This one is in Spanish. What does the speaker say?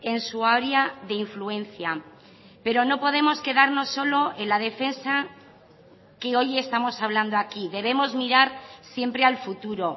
en su área de influencia pero no podemos quedarnos solo en la defensa que hoy estamos hablando aquí debemos mirar siempre al futuro